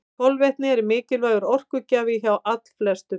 Kolvetni eru mikilvægur orkugjafi hjá allflestum.